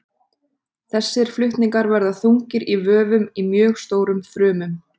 Þessir flutningar verða þungir í vöfum í mjög stórum frumum.